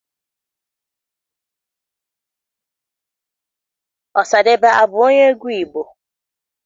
Ọsadebe abụ onye egwu Igbo?